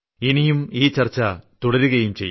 ഇനിയും ഈ ചർച്ച തുടരുകയും ചെയ്യും